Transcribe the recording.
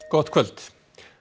gott kvöld